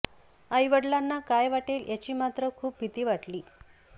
आईवडिलांना काय वाटेल याची मात्र खूप भीती वाटली